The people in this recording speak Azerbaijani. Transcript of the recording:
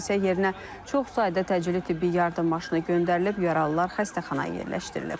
Hadisə yerinə çox sayda təcili tibbi yardım maşını göndərilib, yaralılar xəstəxanaya yerləşdirilib.